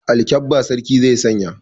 Alkabba sarki zai sanya.